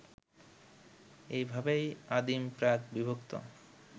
এইভাবেই আদিম প্রাক-বিভক্ত